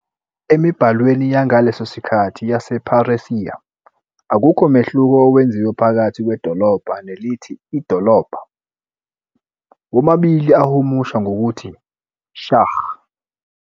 Emibhalweni yangaleso sikhathi yasePheresiya, akukho mehluko owenziwe phakathi "kwedolobha" nelithi "idolobha", womabili ahumusha ngokuthi "Shahr".